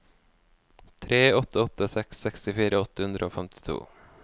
tre åtte åtte seks sekstifire åtte hundre og femtito